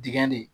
Dingɛ de